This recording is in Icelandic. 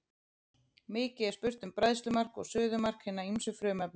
Mikið er spurt um bræðslumark og suðumark hinna ýmsu frumefna.